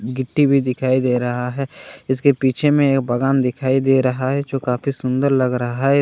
गिट्टी भी दिखाई दे रहा है इसके पीछे में एक बगान दिखाई दे रहा है जो काफी सुन्दर लग रहा है इसमें छोटा छोटा--